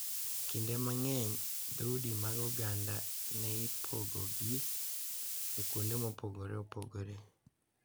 Kinde mang’eny, dhoudi mag oganda ne ipogogi e kuonde mopogore opogore